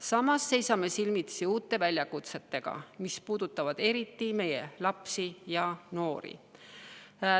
Samas seisame silmitsi uute väljakutsetega, mis puudutavad eriti meie lapsi ja noori.